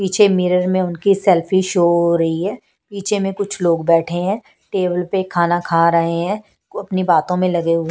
पीछे मिरर में उनकी सेल्फी शो हो रही है पीछे में कुछ लोग बैठे हैं टेबल पर खाना खा रहे हैं अपनी बातों में लगे हुए--